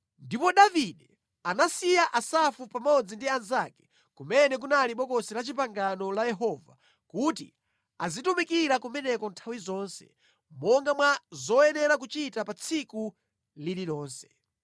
Ndipo Davide anasiya Asafu pamodzi ndi anzake kumene kunali Bokosi la Chipangano la Yehova kuti azitumikira kumeneko nthawi zonse, monga mwa zoyenera kuchita pa tsiku lililonse.